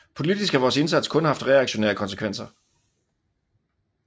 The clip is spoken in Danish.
Politisk har vores indsats kun haft reaktionære konsekvenser